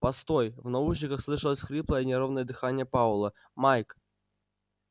постой в наушниках слышалось хриплое неровное дыхание пауэлла майк